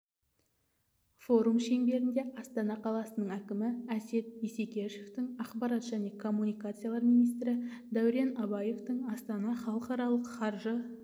форум шеңберінде астана қаласының әкімі әсет исекешевтің ақпарат және коммуникациялар министрі дәурен абаевтың астана халықаралық қаржы